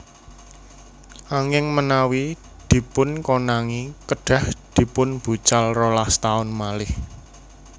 Anging menawi dipunkonangi kedhah dipunbucal rolas taun malih